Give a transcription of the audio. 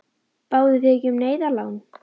Báðuð þið ekki um neyðarlán?